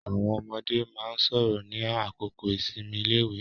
Àwọn ọmọde máa ń sọ̀rọ̀ ní àkókò ìsinmi iléèwé.